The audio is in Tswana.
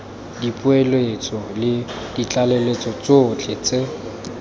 dipoeletso le ditlaleletso tsotlhe tse